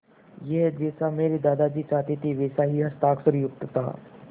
यह जैसा मेरे दादाजी चाहते थे वैसा ही हस्ताक्षरयुक्त था